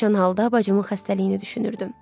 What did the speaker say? Pərişan halda bacımın xəstəliyini düşünürdüm.